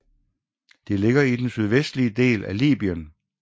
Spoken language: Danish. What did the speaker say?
Det ligger i den sydvestlige del af Libyen